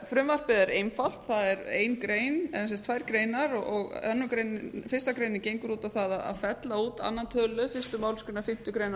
frumvarpið er einfalt það er ein grein eða tvær greinar fyrstu grein gengur út á það að fella út öðrum tölulið fyrstu málsgrein fimmtu grein